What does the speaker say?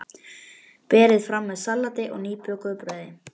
Berið fram með salati og nýbökuðu brauði.